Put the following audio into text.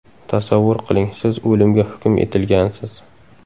Tasavvur qiling, siz o‘limga hukm etilgansiz.